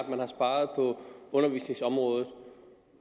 man har sparet på undervisningsområdet